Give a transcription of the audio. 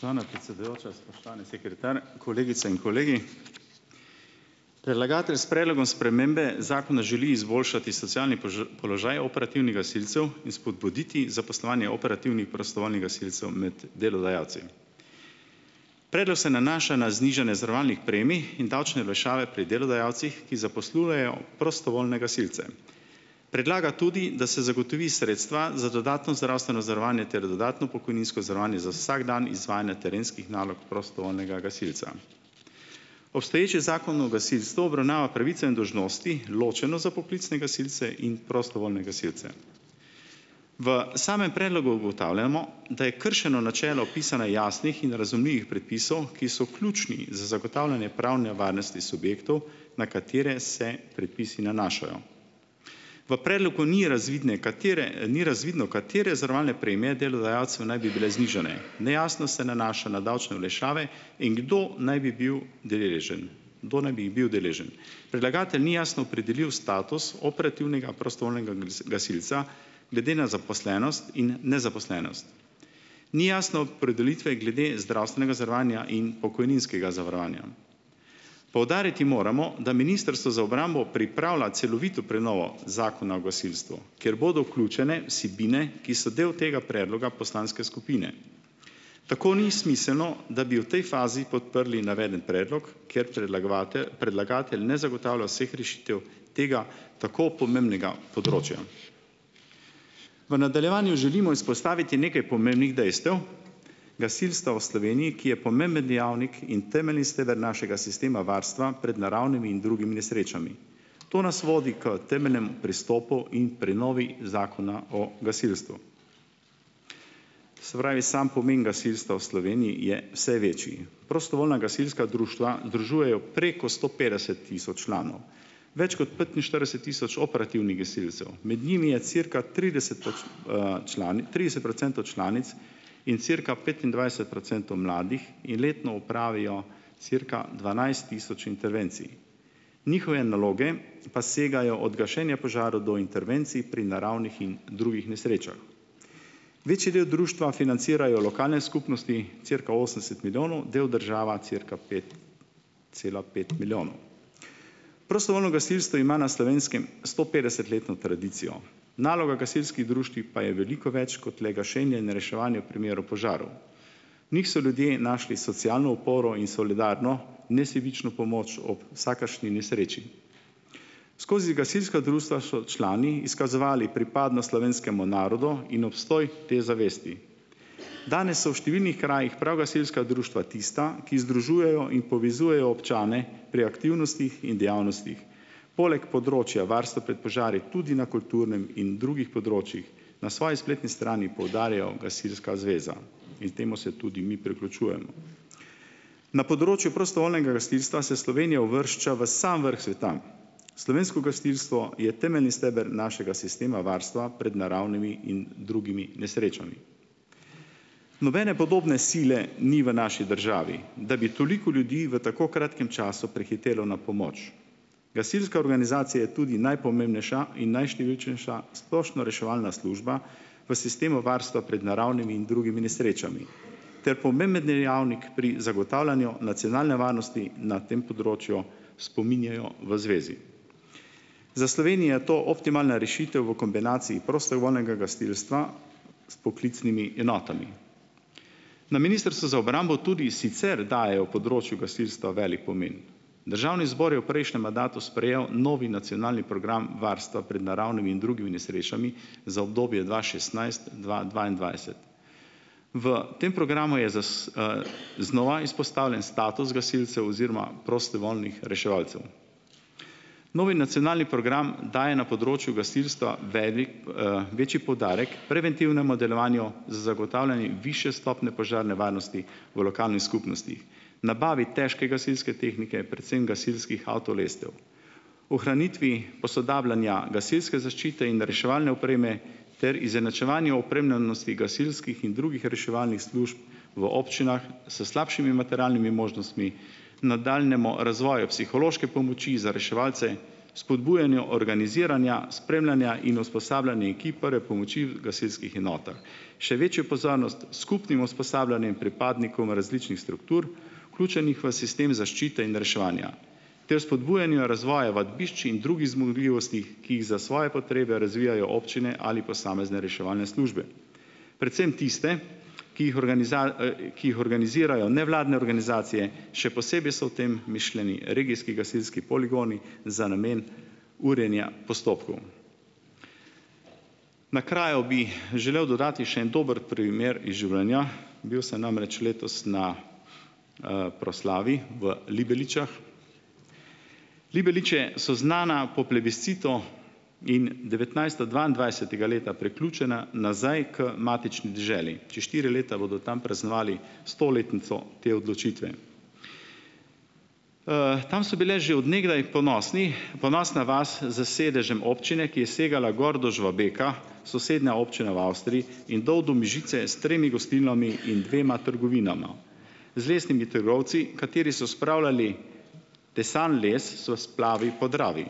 Spoštovana predsedujoča, spoštovani sekretar, kolegice in kolegi! Predlagatelj s predlogom spremembe zakona želi izboljšati socialni položaj operativnih gasilcev in spodbuditi zaposlovanje operativnih prostovoljnih gasilcev med delodajalci. Predlog se nanaša na znižanje zavarovalnih premij in davčne olajšave pri delodajalcih, ki zaposlujejo prostovoljne gasilce. Predlaga tudi, da se zagotovi sredstva za dodatno zdravstveno zavarovanje ter dodatno pokojninsko zavarovanje za vsak dan izvajanja terenskih nalog prostovoljnega gasilca. Obstoječi Zakon o gasilstvu obravnava pravice in dolžnosti ločeno za poklicne gasilce in prostovoljne gasilce. V samem predlogu ugotavljamo, da je kršeno načelo pisanja jasnih in razumljivih predpisov, ki so ključni zagotavljanje pravne varnosti subjektov, na katere se predpisi nanašajo. V predlogu ni razvidne, katere, ni razvidno, katere zavarovalne premije delodajalcu naj bi bile znižane , nejasnost se nanaša na davčne olajšave in kdo naj bil deležen, kdo naj bi jih bil deležen. Predlagatelj ni jasno opredelil status operativnega prostovoljnega gasilca glede na zaposlenost in nezaposlenost. Ni jasne opredelitve glede zdravstvenega zavarovanja in pokojninskega zavarovanja. Poudariti moramo, da ministrstvo za obrambo pripravlja celovito prenovo Zakona o gasilstvu, kjer bodo vključene vsebine, ki so del tega predloga poslanske skupine. Tako ni smiselno, da bi v tej fazi podprli navedeni predlog, ker predlagatelj ne zagotavlja vseh rešitev tega tako pomembnega področja. V nadaljevanju želimo izpostaviti nekaj pomembnih dejstev gasilstva v Sloveniji, ki je pomemben dejavnik in temeljni steber našega sistema varstva pred naravnimi in drugimi nesrečami. To nas vodi k temeljnemu pristopu in prenovi Zakona o gasilstvu. Se pravi, sam pomen gasilstva v Sloveniji je vse večji. Prostovoljna gasilska društva združujejo preko sto petdeset tisoč članov, več kot petinštirideset tisoč operativnih gasilcev, med njimi je cirka trideset trideset procentov članic in cirka petindvajset procentov mladih, ki letno opravijo cirka dvanajst tisoč intervencij. Njihove naloge pa segajo od gašenja požarov do intervencij pri naravnih in drugih nesrečah. Večji del društva financirajo lokalne skupnosti, cirka osemdeset milijonov, del država, cirka pet cela pet milijonov. Prostovoljno gasilstvo ima na Slovenskem stopetdesetletno tradicijo. Naloga gasilskih društev pa je veliko več kot le gašenje in reševanje v primeru požarov. V njih so ljudje našli socialno oporo in solidarno, nesebično pomoč ob vsakršni nesreči. Skozi gasilska društva so člani izkazovali pripadnost slovenskemu narodu in obstoj te zavesti. Danes so v številnih krajih prav gasilska društva tista, ki združujejo in povezujejo občane pri aktivnostih in dejavnostih, poleg področja varstva pred požari tudi na kulturnem in drugih področjih, na svoji spletni strani poudarja Gasilska zveza, in temu se tudi mi priključujemo. Na področju prostovoljnega gasilstva se Slovenija uvršča v sam vrh sveta. Slovensko gasilstvo je temeljni steber našega sistema varstva pred naravnimi in drugimi nesrečami. Nobene podobne sile ni v naši državi, da bi toliko ljudi v tako kratkem času prihitelo na pomoč. Gasilska organizacija je tudi najpomembnejša in najštevilčnejša splošnoreševalna služba v sistemu varstva pred naravnimi in drugimi nesrečami ter pomemben dejavnik pri zagotavljanju nacionalne varnosti na tem področju, spominjajo v zvezi. Za Slovenijo je to optimalna rešitev v kombinaciji prostovoljnega gasilstva s poklicnimi enotami. Na Ministrstvu za obrambo tudi sicer dajejo področju gasilstva velik pomen. Državni zbor je v prejšnjem mandatu sprejel novi Nacionalni program varstva pred naravnimi in drugimi nesrečami za obdobje dva šestnajst-dva dvaindvajset. V tem programu je znova izpostavljen status gasilcev oziroma prostovoljnih reševalcev. Novi nacionalni program daje na področju gasilstva večji poudarek preventivnemu delovanju za zagotavljanje višje stopnje požarne varnosti v lokalnih skupnostih, nabavi težke gasilske tehnike, predvsem gasilskih avtolestev, ohranitvi posodabljanja gasilske zaščite in reševalne opreme ter izenačevanju opremljenosti gasilskih in drugih reševalnih služb v občinah s slabšimi materialnimi možnostmi, nadaljnjemu razvoju psihološke pomoči za reševalce, spodbujanju organiziranja, spremljanja in usposabljanja ekip prve pomoči v gasilskih enotah, še večjo pozanost skupnim usposabljanjem pripadnikov na različnih struktur, vključenih v sistem zaščite in reševanja, ter spodbujanju razvoja vadbišč in drugih zmogljivosti, ki jih za svoje potrebe razvijajo občine ali posamezne reševalne službe, predvsem tiste, ki jih ki jih organizirajo nevladne organizacije, še posebej so v tem mišljeni regijski gasilski poligoni za namen urjenja postopkov. Na kraju bi, želel dodati še en dober primer iz življenja. Bil sem namreč letos na, proslavi v Libeličah. Libeliče so znane po plebiscitu in devetnajststo dvaindvajsetega leta priključene nazaj k matični deželi. Čez štiri leta bodo tam praznovali stoletnico te odločitve. Tam so bili že od nekdaj ponosni, ponosna vas z sedežem občine, ki je segala gor do Žvabeka, sosednja občina v Avstriji, in dol do Mežice s tremi gostilnami in dvema trgovinama. Z lesnimi trgovci, kateri so spravljali tesan les s splavi po Dravi.